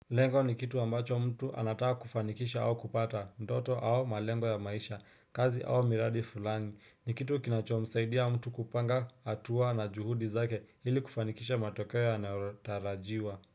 Lengo ni kitu ambacho mtu anataka kufanikisha au kupata, ndoto au malengo ya maisha, kazi au miradi fulani, ni kitu kinachomsaidia mtu kupanga, hatua na juhudi zake, ili kufanikisha matokeo yanatarajiwa.